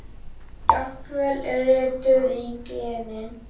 Jafnvel rituð í genin?